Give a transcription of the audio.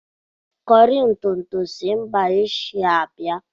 Kọri ntụ ntụ si mba Ashia bịa.